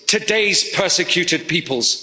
Today's persecuted peoples.